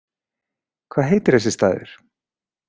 Hvað heitir þessi staður?